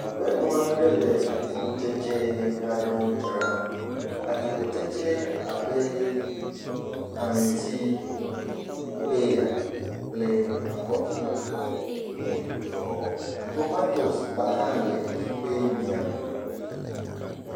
Aƒenɔ aɖe le atikutsetse aɖewo dzram. Atikutseysewo abe: aŋuti, peya kple akɔɖu wole egbɔ. Tomatosigba hã le eƒe miãme.